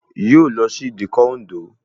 Yóò lọ sí ìdíkọ̀ Òǹdó